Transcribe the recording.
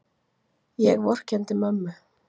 Ég vorkenndi mömmu.